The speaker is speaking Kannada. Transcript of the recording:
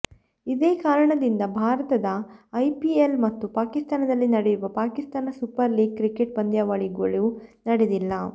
ಇದೇ ಕಾರಣದಿಂದ ಭಾರತದ ಐಪಿಎಲ್ ಮತ್ತು ಪಾಕಿಸ್ತಾನದಲ್ಲಿ ನಡೆಯುವ ಪಾಕಿಸ್ತಾನ ಸೂಪರ್ ಲೀಗ್ ಕ್ರಿಕೆಟ್ ಪಂದ್ಯಾವಳಿಗಳೂ ನಡೆದಿಲ್ಲ